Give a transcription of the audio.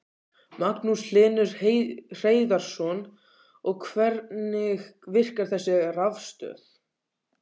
Magnús Hlynur Hreiðarsson: Og hvernig virkar þessi rafstöð?